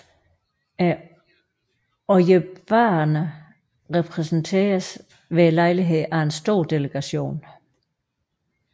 Ojibwaerne repræsenteredes ved lejligheden af en stor delegation